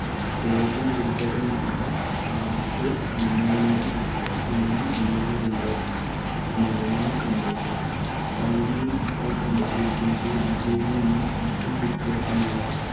രോഗം ഗുരുതരമായാൽ SARS pneumonia, വൃക്ക സ്തംഭനം എന്നിവയുണ്ടാകും മരണവും സംഭവിക്കാം. ചൈനയിൽ ഇപ്പോൾ കണ്ടെത്തിയിരിക്കുന്നത് ഇവയിൽ നിന്നും അല്പം വ്യത്യാസമായ